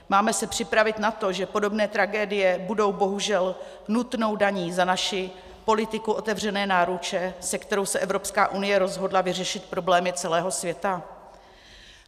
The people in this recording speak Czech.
Máme se připravit na to, že podobné tragédie budou bohužel nutnou daní za naši politiku otevřené náruče, se kterou se Evropská unie rozhodla vyřešit problémy celého světa?